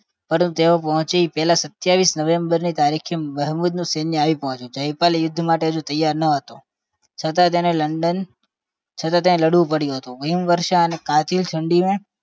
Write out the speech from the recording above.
તેઓ પરતું પહોંચી તે પહેલા સતાવીસ નવેમ્બરની તારીખે મહેમુદ નુ લશ્કર આવી પડ્યું હતું જયપાલ યુદ્ધ માટે હજુ તૈયાર ન હતો છતાં તને લડન છતાં તને લડવું પડ્યું હતું હિમવર્ષા અને કાતિલ ઠંડીમે